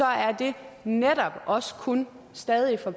er det netop også kun stadig for